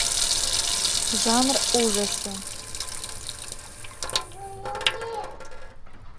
жанр ужасы